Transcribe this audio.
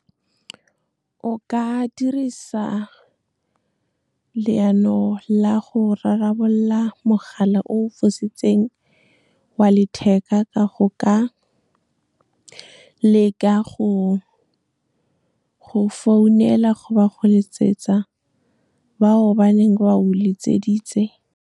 O ka dirisa leano la go rarabolola mogala o o fositseng wa letheka, ka go ka leka go founela goba go letsetsa ba o ba neng ba o letseditse.